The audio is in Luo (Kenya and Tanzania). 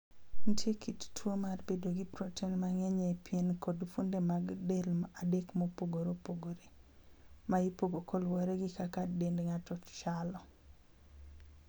Nitie kit tuo mar bedo gi proten mang'eny e pien kod fuonde mag del adek mopogore opogore, ma ipogo kaluwore gi kaka dend ng'ato chalo.